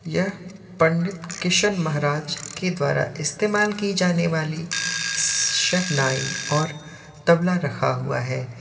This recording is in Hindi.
यह पंडित किशन महाराज के द्वारा इस्तेमाल की जाने वाली शहनाई और तबला रखा हुआ है।